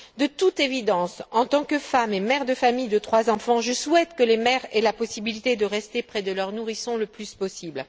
De toute évidence, en tant que femme et mère de famille de trois enfants, je souhaite que les mères aient la possibilité de rester près de leur nourrisson le plus possible.